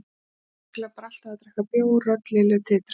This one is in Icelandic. Þau eru ábyggilega bara alltaf að drekka bjór, rödd Lillu titraði.